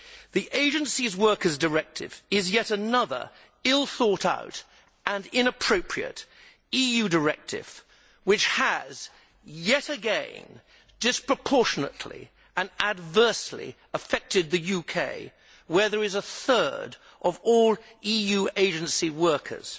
The Agency Workers' Directive is yet another ill thought out and inappropriate EU directive which has yet again disproportionately and adversely affected the UK, which has a third of all EU agency workers.